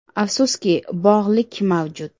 Afsuski, bog‘lik mavjud.